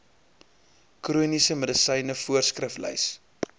chroniese medisyne voorskriflys